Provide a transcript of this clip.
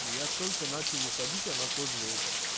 я только начал выходить она тоже вот